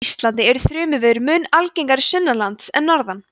á íslandi eru þrumuveður mun algengari sunnanlands en norðan